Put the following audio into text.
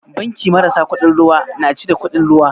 Banki marasa kuɗin ruwa na cire kuɗin ruwa?